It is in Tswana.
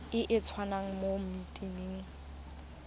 e e tswang mo metsing